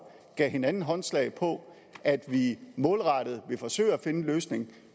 gav vi hinanden håndslag på at vi målrettet vil forsøge at finde en løsning